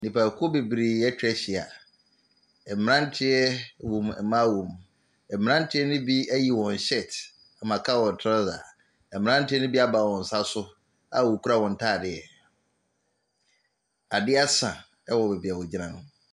Nnipa kuo bebree atwa ahyia, ɛmmeranteɛ wɔ mu, ɛmaa wɔ mu. Ɛmmeranteɛ no bi ayi wɔn hyɛɛt ma aka wɔn traosa, mmeranteɛ ne bi ama wɔn nsa so a wɔkura wɔn ntaadeɛ, adeɛ asa ɛwɔ baabia ɔgyina no.